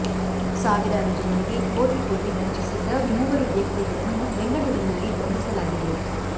ಸಾವಿರಾರು ಜನರಿಗೆ ಕೋಟಿ ಕೋಟಿ ವಂಚಿಸಿದ್ದ ಮೂವರು ವ್ಯಕ್ತಿಗಳನ್ನು ಬೆಂಗಳೂರಿನಲ್ಲಿ ಬಂಧಿಸಲಾಗಿದೆ